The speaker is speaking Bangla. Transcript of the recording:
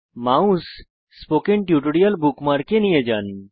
মাউস স্পোকেন টিউটোরিয়াল বুকমার্কে নিয়ে যান